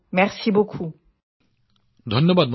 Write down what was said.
মহামান্যৰ ধন্যবাদ